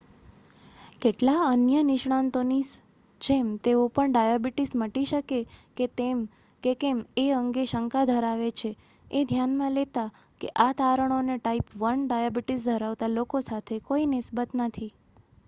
કેટલાક અન્ય નિષ્ણાતોની જેમ તેઓ પણ ડાયાબિટીસ મટી શકે કે કેમ એ અંગે શંકા ધરાવે છે એ ધ્યાનમાં લેતા કે આ તારણોને ટાઈપ 1 ડાયાબિટીસ ધરાવતા લોકો સાથે કોઈ નિસ્બત નથી